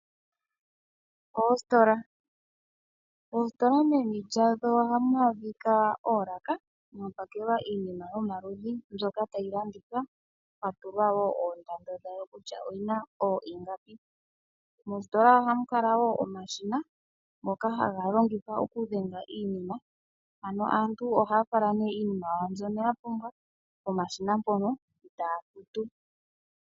Oositola, oositola meni lyadho ohaamu adhika oolaka mono mwapakelwa iinima yomalundhi ndyoka tayi landithwa pwatulwa oondando kutya oyina ingapi. Moostola ohamu kala omashina ngono haga longithwa okudhenga iinima. Aantu ohaya fala iinima yayo mbyoka ya pumbwa pomashina etaya futu.